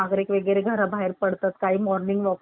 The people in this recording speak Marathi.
काही morning walk ला सकाळी बाहेर पडतात फिरायला